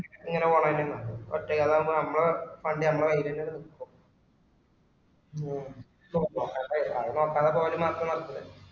ഇങ്ങനെ പോണന്നേ നല്ലേ ഒറ്റക് അതാവുമ്പോ നമ്മളെ fund നമ്മളെ കയ്യില്ത്തന്നെ നിക്കു ആരേം നോക്കാതെ പോവൽ മാത്രം നടക്കുലെ